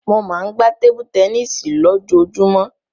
Mo máa ń gbá tébú tẹníìsì lójoojúmọ́.